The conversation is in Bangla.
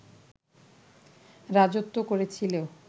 রাজত্ব করেছিল